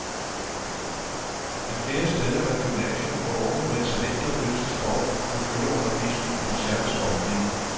Men flere steder er der gymnasier, hvor unge med talent og lyst til sport kan følge undervisningen på en særlig sportslinie.